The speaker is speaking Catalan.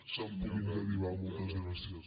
se’n puguin derivar moltes gràcies